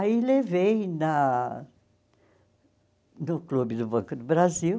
Aí levei na no Clube do Banco do Brasil,